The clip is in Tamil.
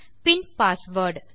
பின் பாஸ்வேர்ட்